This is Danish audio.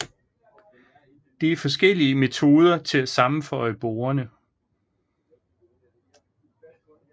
Det er forskellige metoder til at sammenføje borderne